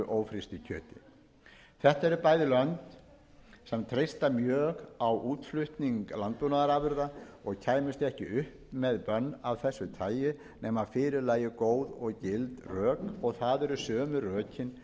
kjöti þetta eru bæði lönd sem treysta mjög á útflutning landbúnaðarafurða og kæmust ekki upp með bönn af þessu tagi nema fyrir lægju góð og gild rök og það eru sömu rökin